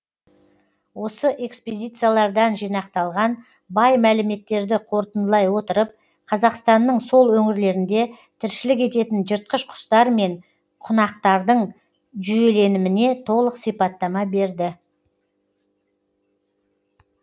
осы экспедициялардан жинақталған бай мәліметтерді қорытындылай отырып қазақстанның сол өңірлерінде тіршілік ететін жыртқыш құстар мен құнақтардың жүйеленіміне толық сипаттама берді